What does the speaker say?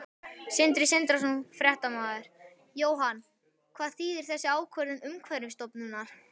Sindri Sindrason, fréttamaður: Jóhann, hvað þýðir þessi ákvörðun Umhverfisstofnunar?